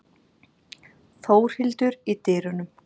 Þórhildur í dyrunum.